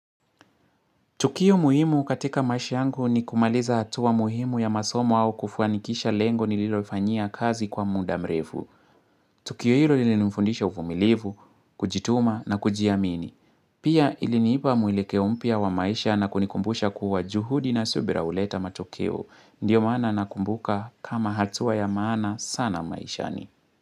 Tukio muhimu katika maisha yangu ni kumaliza hatuwa muhimu ya masomo au kufwanikisha lengo nililofanyia kazi kwa muda mrefu. Tukio hilo ilinifundisha uvumilivu, kujituma na kujiamini. Pia iliniipa mwelekeo mpya wa maisha na kunikumbusha kuwa juhudi na subira huleta matokeo. Ndiyo maana nakumbuka kama hatuwa ya maana sana maishani.